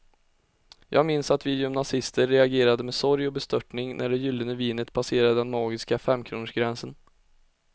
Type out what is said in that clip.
Jag minns att vi gymnasister reagerade med sorg och bestörtning när det gyllene vinet passerade den magiska femkronorsgränsen.